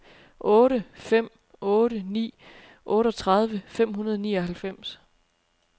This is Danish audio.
otte fem otte ni otteogtredive fem hundrede og nioghalvfems